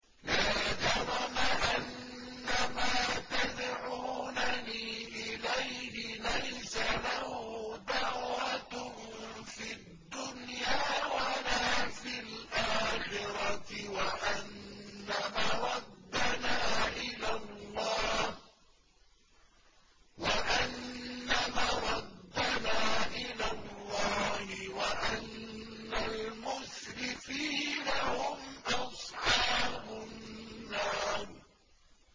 لَا جَرَمَ أَنَّمَا تَدْعُونَنِي إِلَيْهِ لَيْسَ لَهُ دَعْوَةٌ فِي الدُّنْيَا وَلَا فِي الْآخِرَةِ وَأَنَّ مَرَدَّنَا إِلَى اللَّهِ وَأَنَّ الْمُسْرِفِينَ هُمْ أَصْحَابُ النَّارِ